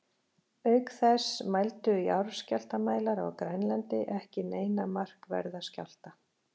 Auk þess mældu jarðskjálftamælar á Grænlandi ekki neina markverða skjálfta.